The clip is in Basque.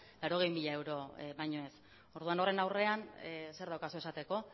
laurogei mila euro baino ez orduan horren aurrean zer daukazu esateko